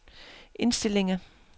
indstillinger